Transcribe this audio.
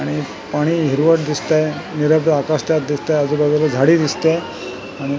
आणि पाणी हिरट दिसतंय निरभद्र आकाश त्यात दिसते आजूबाजूला झाडी दिसते आणि --